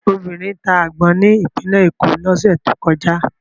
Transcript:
Obìnrin ta àgbọn ní Ìpínlẹ̀ Èkó lọ́sẹ̀ tó kọjá.